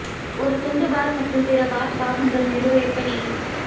ஒரு துண்டு பார் மற்றும் பிற பாத் பாகங்கள் நிறுவ எப்படி